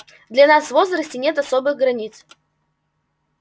для нас в возрасте нет особых границ